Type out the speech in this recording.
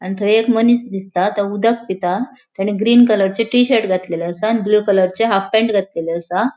आणि थय एक मनिस दिसता तो उदक पिता तेने ग्रीन कलरचे टी शर्ट घातलेले असा आणि ब्लू कलरचे हाफ पैन्ट घातलेली असा.